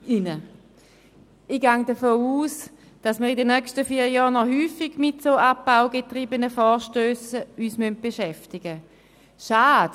Ich gehe davon aus, dass wir uns in den nächsten vier Jahren noch häufig mit solchen von Abbau getriebenen Vorstössen beschäftigen müssen.